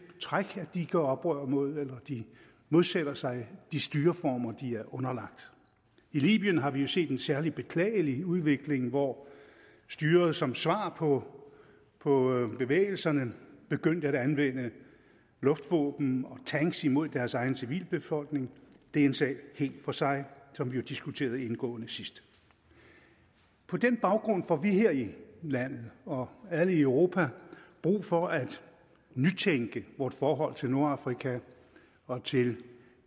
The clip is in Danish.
træk at de gør oprør mod eller modsætter sig de styreformer de er underlagt i libyen har vi jo set en særlig beklagelig udvikling hvor styret som svar på på bevægelserne begyndte at anvende luftvåben og tanks mod deres egen civilbefolkning det er en sag helt for sig som vi jo diskuterede indgående sidst på den baggrund får vi her i landet og alle i europa brug for at nytænke vort forhold til nordafrika og til